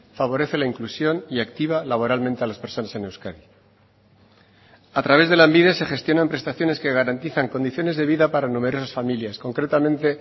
favorece la inclusión y activa laboralmente a las personas en euskadi a través de lanbide se gestionan prestaciones que garantizan condiciones de vida para numerosas familias concretamente